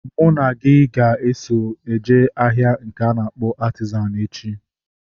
Mụ na gị a ga-eso jee ahịa nke a na-akpọ Artizan echi?